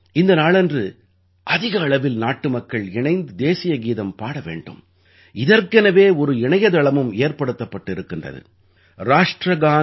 இந்த நாளன்று அதிக அளவில் நாட்டுமக்கள் இணைந்து தேசிய கீதம் பாட வேண்டும் இதற்கெனவே ஒரு இணையத்தளமும் ஏற்படுத்தப்பட்டு இருக்கின்றது ராஷ்ட்ரகான்